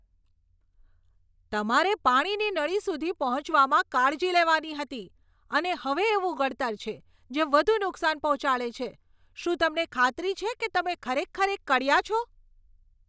તમારે પાણીની નળી સુધી પહોંચવામાં કાળજી લેવાની હતી અને હવે એવું ગળતર છે, જે વધુ નુકસાન પહોંચાડે છે! શું તમને ખાતરી છે કે તમે એક ખરેખર કડિયા છો?